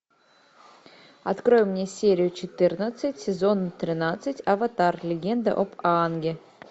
открой мне серию четырнадцать сезон тринадцать аватар легенда об аанге